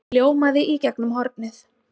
hljómaði í gegnum hornið.